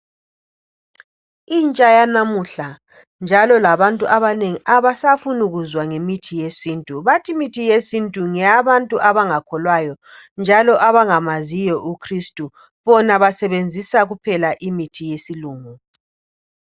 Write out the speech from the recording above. Intsha yanamuhla njalo labantu abanengi abasafuni kuzwa ngemithi yesintu bathi imithi yesintu ngeyabantu abangakholwayo njalo abangamaziyo uChristu bona basebenzisa imithi yesilungu.